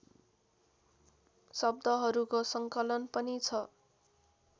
शब्दहरूको सङ्कलन पनि छ